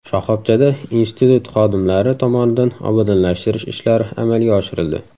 Shoxobchada institut xodimlari tomonidan obodonlashtirish ishlari amalga oshirildi.